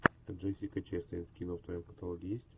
джессика честейн кино в твоем каталоге есть